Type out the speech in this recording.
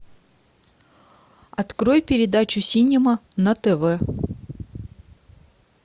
открой передачу синема на тв